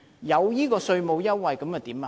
有稅務優惠又如何？